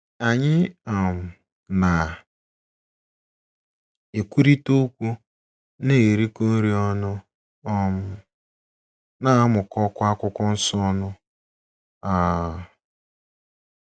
Anyị um na - ekwurịta okwu, na - erikọ nri ọnụ um, na - amụkọkwa akwụkwọ nsọ ọnụ. um